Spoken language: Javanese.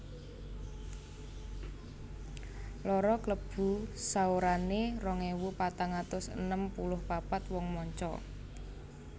Loro Klebu saorané rong ewu patang atus enem puluh papat wong manca